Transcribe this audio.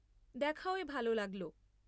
দেখা হয়ে ভালো লাগল।